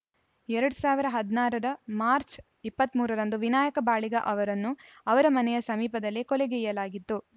ಎರಡ್ ಸಾವಿರದ ಹದಿನಾರರ ಮಾರ್ಚ್ ಇಪ್ಪತ್ತ್ ಮೂರ ರಂದು ವಿನಾಯಕ ಬಾಳಿಗಾ ಅವರನ್ನು ಅವರ ಮನೆಯ ಸಮೀಪದಲ್ಲಿ ಕೊಲೆಗೈಯಲಾಗಿತ್ತು